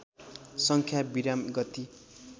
सङ्ख्या विराम गति